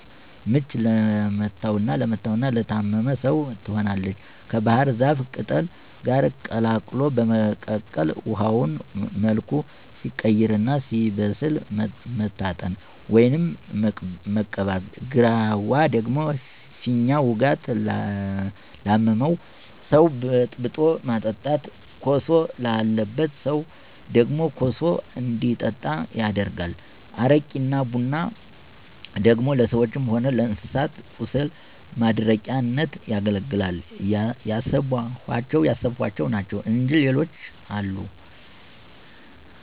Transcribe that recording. ምች ለመታውና ለታመመ ሰው ትሆናለች ከባሕር ዛፍ ቅጠል ጋር ቀላቅሎ በመቀቀል ውሀው መልኩ ሲቀይርና ሲበስል መታጠን፣ ወይም መቀባት። ግራዋ ደግሞ ፊኛ ውጋት ላመመው ሰው በጥብጦ ማጠጣት። ኮሶ ላለበት ሰው ደግሞ ኮሱ እንዲጠጣ ይደረጋል። አረቂና ቡና ደግሞ ለሰዎችም ሆነ ለእንስሳት ቁስል ማድረቂያነት ያገለግላል። ያሰብኋቸው ናቸው እንጅ ሌሎችም አሉ።